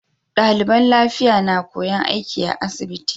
Daliban lafiya na koyan aiki a asibiti